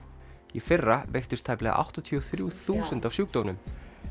í fyrra veiktust tæplega áttatíu og þrjú þúsund af sjúkdómnum